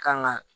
Kan ga